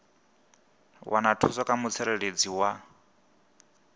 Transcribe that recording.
wana thuso kha mutsireledzi wa